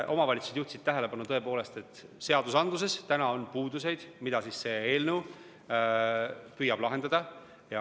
Omavalitsused juhtisid tähelepanu sellele, et seadusandluses on praegu puudusi, mida see eelnõu püüab lahendada.